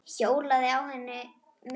Hjólaði á henni miðri.